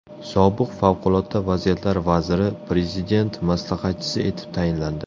Sobiq favqulodda vaziyatlar vaziri Prezident maslahatchisi etib tayinlandi.